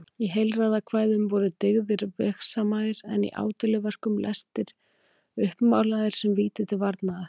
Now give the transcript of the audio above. Í heilræðakvæðum voru dyggðir vegsamaðar en í ádeiluverkum lestir uppmálaðir sem víti til varnaðar.